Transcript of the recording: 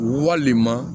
Walima